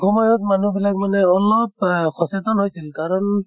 সময়ত মানুহ বিলাক মানে অলপ অহ সচেতন হৈছিল। কাৰণ